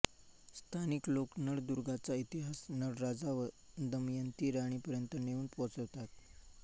स्थानिक लोक नळदुर्गाचा इतिहास नळराजा व दमयंती राणी पर्यंत नेऊन पोहोचवितात